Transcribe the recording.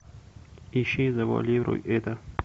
ищи завуалируй это